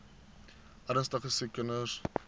ernstige siek kinders